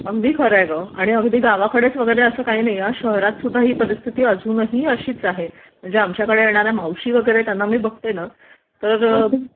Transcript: अगदी खर आहे ग आणि अगदी गावाकडे असं काही नाही हा शहरात सुद्धा ही परिस्थिती अजूनही अशीच आहे म्हणजे आमच्याकडे येणाऱ्या मावशी वगैरे त्यांना मी बघते ना तर..